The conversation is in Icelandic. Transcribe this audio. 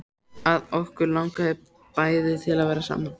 Að okkur langaði bæði til að vera saman.